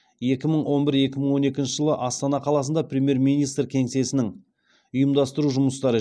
екі мың он бір екі мың он екінші жылы астана қаласында премьер министр кеңсесінің ұйымдастыру жұмыстары